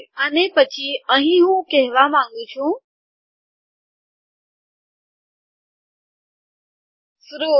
અને પછી અહીં હું કહેવા માંગું છું ફ્રુટ